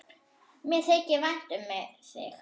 Mér þykir vænt um þig.